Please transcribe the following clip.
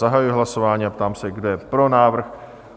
Zahajuji hlasování a ptám se, kdo je pro návrh?